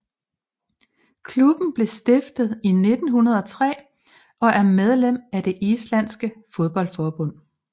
Klubben blev stiftet i 1903 og er medlem af det islandske fodboldforbund